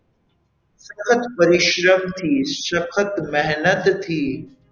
સખત પરિશ્રમથી સખત મહેનતથી.